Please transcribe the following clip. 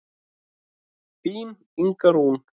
Þín Inga Rún.